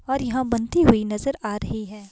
और यहां बनती हुई नजर आ रही है।